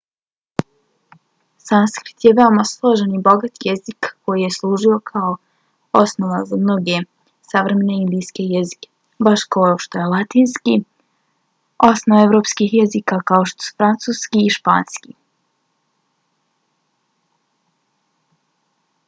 sanskrit je veoma složen i bogat jezik koji je služio kao osnova za mnoge savremene indijske jezike baš kao što je latinski osnova evropskih jezika kao što su francuski i španski